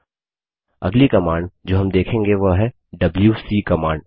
अगली कमांड जो हम देखेंगे वह है डबल्यूसी कमांड